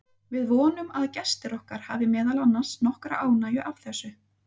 Við vonum að gestir okkar hafi meðal annars nokkra ánægju af þessu.